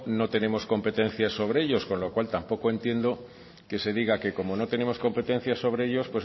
no tenemos competencia sobre ellos con lo cual tampoco entiendo que se diga que como no tenemos competencia sobre ellos